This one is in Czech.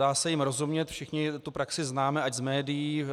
Dá se jim rozumět, všichni tu praxi známe ať z médií,